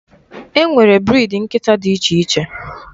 E nwere briidi nkịta dị iche iche.